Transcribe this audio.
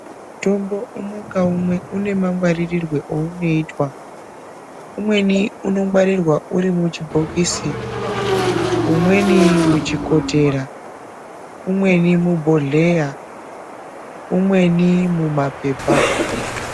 Mutombo umwe ngaumwe une mangwaririrwe eunoitwa umweni unongwarirwa urimuchibhokisi, umweni muchikotera, umweni mubhodheya, umweni mumapepa.